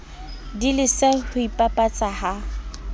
di lese ho ipapatsa ha